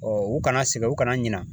u kana sɛgɛn u kana ɲina.